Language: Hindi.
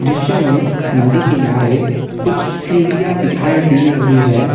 दृश्य में नदी किनारे कुछ सीढ़ियां दिखाई दे रही है।